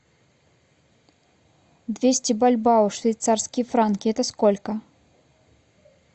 двести бальбоа в швейцарские франки это сколько